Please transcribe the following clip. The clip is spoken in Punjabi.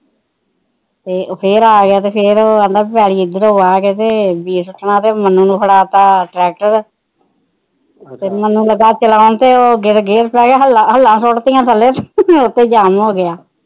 ਫਿਰ ਆ ਗਿਆ ਉਹ ਕਹਿੰਦਾ ਪੈਲੀ ਇਧਰੋ ਵਾਹ ਤੇ ਉਹਨੇ ਮੰਨੂੁੰ ਫੜਾ ਤਾ ਟਰੈਕਟਰ ਮੰਨੁੰ ਲੱਗਾ ਚਲਾਣ ਤੇ ਗੇਰ ਪੈ ਗਿਆ ਹੱਲਾ ਹੱਲਾ ਸੁਟਤੀਆਂ ਥੱਲੇ ਉਥੇ ਜਾਮ ਹੋ ਗਿਆ